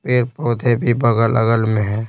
Paid पौधे भी बगल-अगल में हैं।